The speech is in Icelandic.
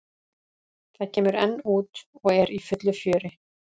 Það kemur enn út og er í fullu fjöri.